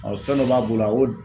fɛn dɔ b'a bolo a y'o.